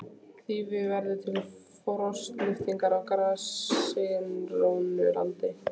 Þýfi verður til við frostlyftingu á grasigrónu landi.